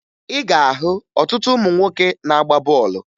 Ị ga-ahụ ọtụtụ ụmụ nwoke na-agba bọọlụ